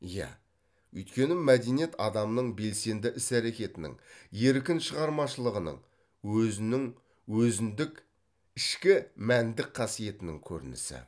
иә өйткені мәдениет адамның белсенді іс әрекетінің еркін шығармашылығының өзінің өзіндік ішкі мәндік қасиетінің көрінісі